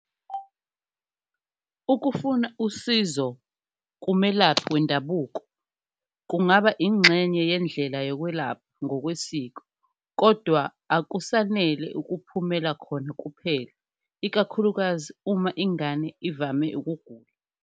Ukufuna usizo kumelaphi wendabuko kungaba ingxenye yendlela yokwelapha ngokwesiko, kodwa akusanele ukuphumela khona kuphela ikakhulukazi uma ingane ivame ukugula.